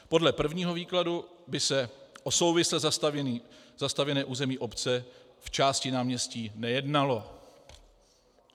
Podle prvního výkladu by se o souvisle zastavěné území obce v části náměstí nejednalo.